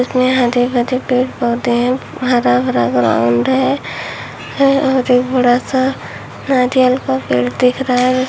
इसमें हरे भरे पेड़ पौधे हैं हरा भरा ग्राउंड है और एक बड़ा सा नारियल का पेड़ दिख रहा है।